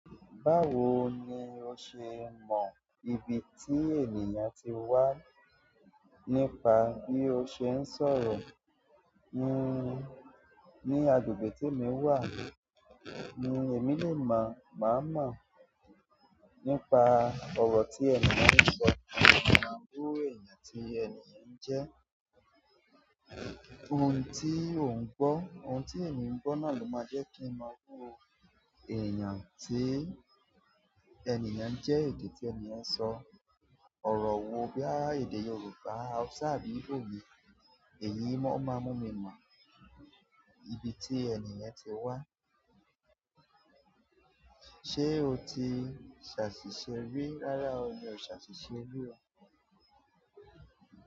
Báwo ni o ṣe mọ ibi tí ènìyàn ti wá nípa bí a ṣe ń sọ̀rọ̀. Ní àgbègbè tí èmi wà, èmi lè má mọ̀ nípa ọ̀rọ̀ tí ẹni náà sọ tàbí irú ẹni tí ẹni náà jẹ́. Ohun tí ènìyàn bá gbọ́ náà ló máa jẹ́ kí n mọ irú ẹni tí ènìyàn jẹ́, èdè tí ènìyàn ń sọ, àti ọ̀rọ̀ tí ènìyàn ń lò, bíi èdè Yorùbá, Hausa tàbí Igbo. Èyí máa ń mú kí n mọ ibi tí ènìyàn wá. Ṣé o ti ṣàṣìṣe rí rárá? Mi ò tíì ṣàṣìṣe rí o.